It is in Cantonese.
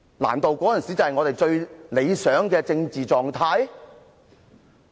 難道那時才是我們最理想的政治狀態？